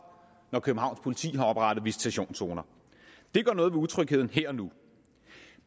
at københavns politi har oprettet visitationszoner det gør noget ved utrygheden her og nu